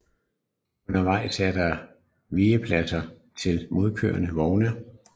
Undervejs er der vigepladser til modkørende vogne